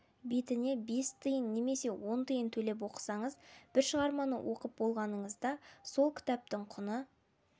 бетіне бес тиын немесе он тиын төлеп оқысаңыз бір шығарманы оқып болғаныңызда сол кітаптың құны